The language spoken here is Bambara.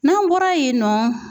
N'an bɔra yen nɔ.